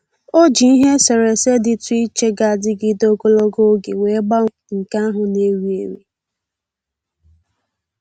O ji ihe eserese dịtụ iche ga-adịgịde ogologo oge wee gbanwee nke ahụ na-ewi ewi